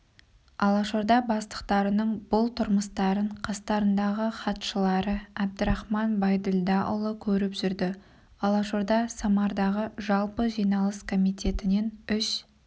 алашорда бастықтарының бұл тұрмыстарын қастарындағы хатшылары әбдірахман байділдаұлы көріп жүрді алашорда самардағы жалпы жиналыс комитетінен үш